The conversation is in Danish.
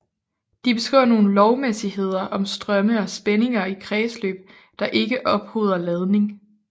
De beskriver nogle lovmæssigheder om strømme og spændinger i kredsløb der ikke ophober ladning